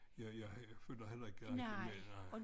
Jeg jeg følger heller ikke rigtig med nej